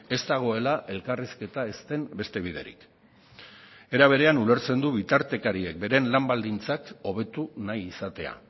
ez dagoela elkarrizketa ez den beste biderik era berean ulertzen du bitartekarien beren lan baldintzak hobetu nahi izatea